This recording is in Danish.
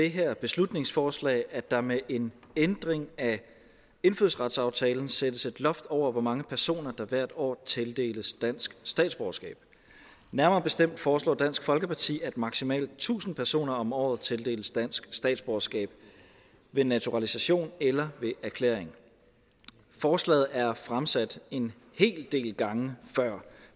det her beslutningsforslag at der med en ændring af indfødsretsaftalen sættes et loft over hvor mange personer der hvert år tildeles dansk statsborgerskab nærmere bestemt foreslår dansk folkeparti at maksimalt tusind personer om året tildeles dansk statsborgerskab ved naturalisation eller ved erklæring forslaget er fremsat en hel del gange før